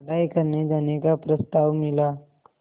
पढ़ाई करने जाने का प्रस्ताव मिला